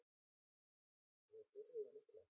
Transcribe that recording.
Við byrjuðum illa